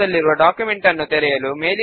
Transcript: ఇప్పుడు ఫామ్ కు ఒక లేబుల్ ను యాడ్ చేద్దాము